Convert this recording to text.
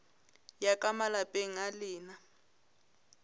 ya ka malapeng a lena